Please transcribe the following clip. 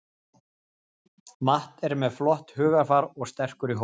Matt er með flott hugarfar og sterkur í hóp.